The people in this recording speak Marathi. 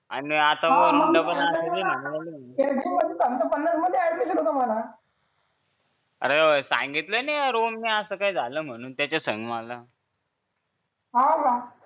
आणि पण म्हटलं पण असेल मध्ये ऍडमिशन होतं म्हणून अरे सांगितलं नाही रोहनने असं काय झालं म्हणून त्याच्या संग मला हो का